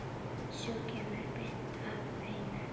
Sú kemur beint að efninu!